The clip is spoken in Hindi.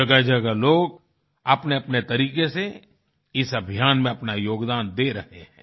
जगहजगह लोग अपनेअपने तरीक़े से इस अभियान में अपना योगदान दे रहें हैं